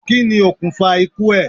Kí ni okùnfà ikú ẹ̀?